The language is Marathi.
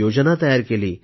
योजना तयार केली